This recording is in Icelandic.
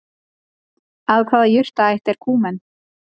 Af hvaða jurtaætt er Kúmen?